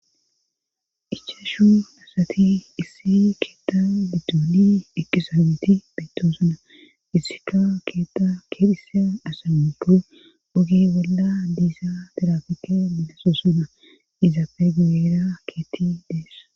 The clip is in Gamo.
ichashu asati issi keetta bidooli eqisaameti beytoosuna issika keetta keerhise asamiqu gugi bolda diisa tirafike milessosuna izapegibeera keetti deess